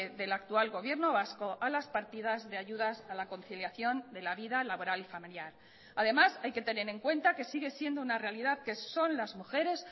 del actual gobierno vasco a las partidas de ayudas a la conciliación de la vida laboral y familiar además hay que tener en cuenta que sigue siendo una realidad que son las mujeres